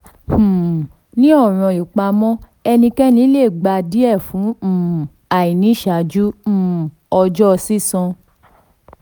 um ní ọ̀ràn ìpamọ́ ẹnikẹni le gba díẹ̀ fún um àìní ṣáájú um ọjọ́ sísan.